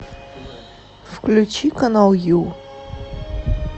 включи канал ю